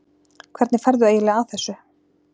Hvernig ferðu eiginlega að þessu?